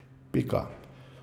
Pika.